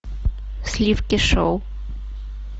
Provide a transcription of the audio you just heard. сливки шоу